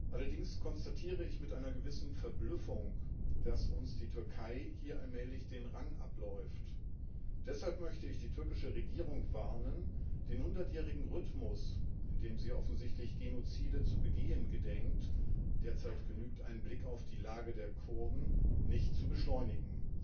Allerdings konstatiere ich mit einer gewissen Verblüffung, dass uns die Türkei hier allmählich den Rang abläuft. Deshalb möchte ich die türkische Regierung warnen, den hundertjährigen Rhythmus, in dem sie offensichtlich Genozide zu begehen gedenkt derzeit genügt ein Blick auf die Lage der Kurden nicht zu beschleunigen.